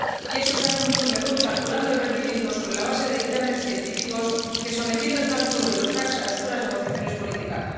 Y eso se hace mucho mejor calculando el rendimiento sobre la base de dictámenes científicos que sometiendo el cálculo de los TAC a oscuras negociaciones políticas.